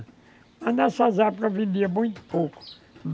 Mas nessas épocas vendia muito pouco.